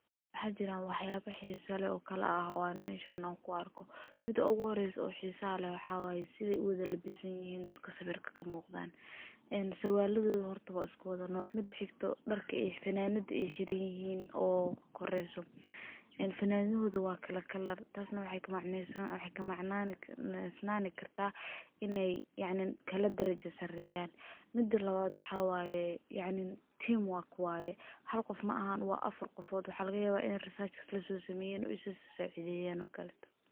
waxajira waxyaabo xiisaha oo kale ah oo aan ma ishaano ku arko mid uu horeyso xiisa leh waxaana sida iwaada la bisan yahiin dadka sawirka ka muuqdaan. Sarwaaladooda hortaga isku day nooc, mid xigto dharka iyo fanaanada hirey ooo koreeyso in fanaandooda waa kala kelar. Taasna wixii macnoysan wixii ka macnoysnan kartaa inay kaloo darajo sareeyaan. Midna loo aado xawaye, yaani team work waaye. Hal qof maahan waa afar qofood. Waxaa halka yaba in research lasu sameyan u soo saidiyen.